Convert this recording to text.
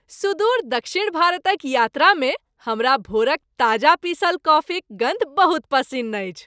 सुदूर दक्षिण भारतक यात्रा में हमरा भोरक ताजा पीसल कॉफीक गन्ध बहुत पसिन्न अछि।